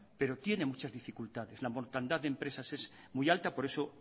pero tiene muchas dificultades la mortandad de empresas es muy alta por eso